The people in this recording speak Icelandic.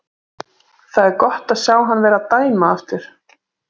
Það er gott að sjá hann vera að dæma aftur.